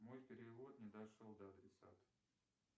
мой перевод не дошел до адресата